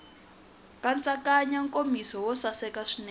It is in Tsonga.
nkatsakanyo nkomiso wo saseka swinene